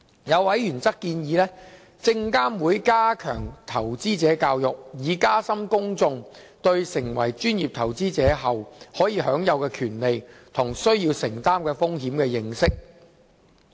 有委員則建議證監會加強投資者教育，以加深公眾對成為專業投資者後可享有的權利及需要承擔的風險的認識。